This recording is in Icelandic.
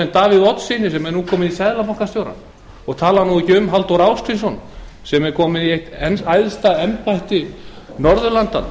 ss davíð oddssyni sem er nú orðinn seðlabankastjóri ég tala nú ekki um halldór ásgrímsson sem er kominn í eitt æðsta embætti norðurlandanna